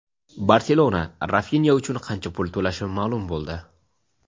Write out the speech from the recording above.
"Barselona" Rafinya uchun qancha pul to‘lashi ma’lum bo‘ldi.